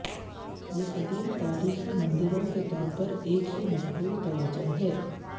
یہ قدیم تاریخی مندروں کے طور پر ایک ہی مقبول توجہ ہے